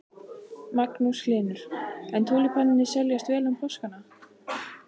Magnús Hlynur: En túlípanarnir seljast vel um páskana?